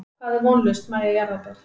Hvað er vonlaust Mæja jarðaber?